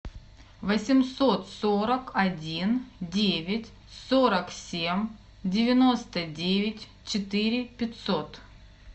восемьсот сорок один девять сорок семь девяносто девять четыре пятьсот